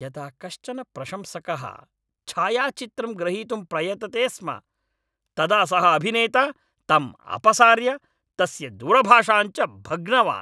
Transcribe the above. यदा कश्चन प्रशंसकः छायाचित्रं ग्रहीतुं प्रयतते स्म तदा सः अभिनेता तम् अपसार्य, तस्य दूरभाषाञ्च भग्नवान्।